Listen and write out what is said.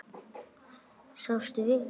Svafstu vel?